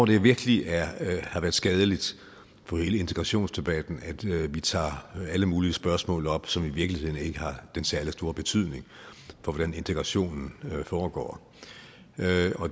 det virkelig har været skadeligt for hele integrationsdebatten at vi tager alle mulige spørgsmål op som i virkelig ikke har den særlig store betydning for hvordan integrationen foregår